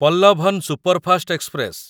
Pallavan superfast express